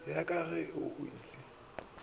ya ka ge o le